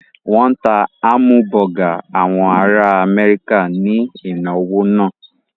Wọ́n ta hámúbọgà àwọn ará Amẹ́ríkà ní ìnáwó náà.